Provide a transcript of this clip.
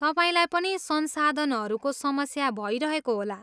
तपाईँलाई पनि संसाधनहरूको समस्या भइरहेको होला।